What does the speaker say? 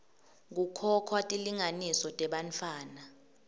kukhokhwa tilinganiso tebantfwana